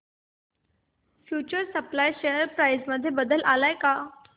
future supply share price मध्ये बदल आलाय का